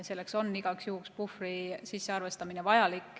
Selleks on igaks juhuks vaja sisse arvestada teatud puhver.